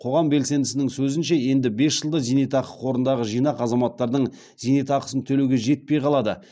қоғам белсендісінің сөзінше енді бес жылда зейнетақы қорындағы жинақ азаматтардың зейнетақысын төлеуге жетпей қалады